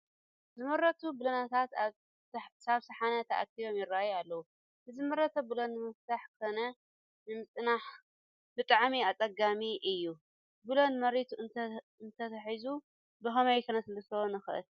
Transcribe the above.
ዝመረቱ ቡለንታት ኣብ ፀሓነ ተኣኪቦም ይርአዩ ኣለዉ፡፡ ንዝመረተ ቡለን ንምፍታሕ ኮነ ንምፅናዕ ብጣዕሚ ኣፀጋሚ እዩ፡፡ ቡለን መሬቱ እንትሕዝ ብኸመይ ክነለስልሶ ንኽእል?